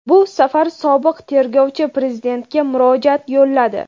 Bu safar sobiq tergovchi Prezidentga murojaat yo‘lladi.